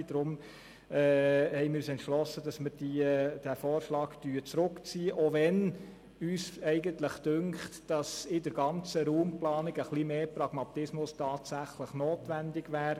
Deshalb haben wir uns entschlossen, diesen Vorstoss zurückzuziehen, auch wenn uns eigentlich scheint, dass in der ganzen Raumplanung tatsächlich etwas mehr Pragmatismus notwendig wäre.